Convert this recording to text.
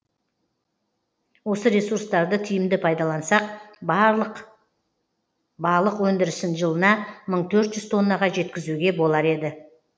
осы ресурстарды тиімді пайдалансақ балық өнідірісін жылына мың төрт жүз тоннаға жеткізуге болар еді